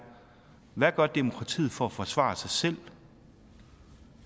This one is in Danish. hvad gør demokratiet for at forsvare sig selv